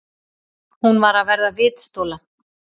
Hún var að verða vitstola.